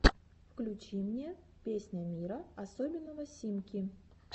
включи мне песня мира особенного симки